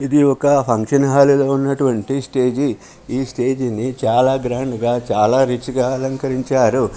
ఇది ఒక function hall ఉన్నటువంటి స్టేజ్ . ఈ స్టేజ్ ని చాలా గ్రాండ్ గా చాలా రిచ్ గా అలంకరించారు..